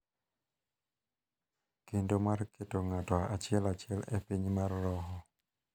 kendo mar keto ng’ato achiel achiel e piny mar roho.